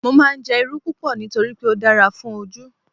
Mo máa ń jẹ́ Irú púpọ̀ nítorí pé ó dára fún Ojú.